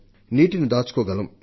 నీటిని దాచుకోగలం